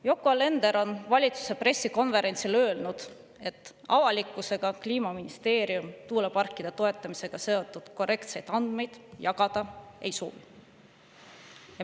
Yoko Alender on valitsuse pressikonverentsil öelnud, et avalikkusega Kliimaministeerium tuuleparkide toetamisega seotud korrektseid andmeid jagada ei soovi.